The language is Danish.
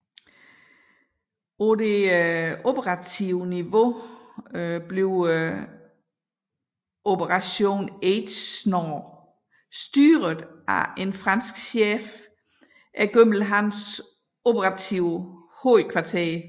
På det operative niveau bliver Operation AGENOR styret af en fransk chef igennem hans operative hovedkvarter